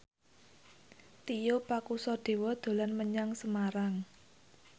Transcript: Tio Pakusadewo dolan menyang Semarang